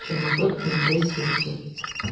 жиырма төрт нөл бес елу сегіз